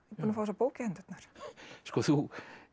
fá þessa bók í hendurnar sko þú